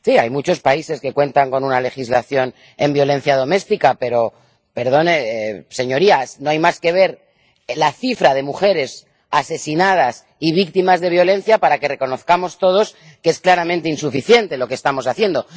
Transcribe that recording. Sí, hay muchos países que cuentan con una legislación sobre violencia doméstica, pero, perdonen, señorías, no hay más que ver la cifra de mujeres asesinadas y víctimas de violencia para que reconozcamos todos que es claramente insuficiente lo que estamos haciendo.